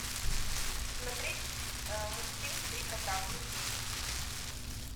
смотреть мультфильм три кота все серии